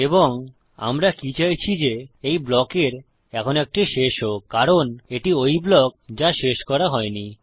এবং আমরা কি চাইছি যে এই ব্লকের এখন একটি শেষ হোক কারণ এটি ঐ ব্লক যা শেষ করা হয়নি